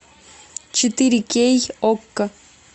четыре кей окко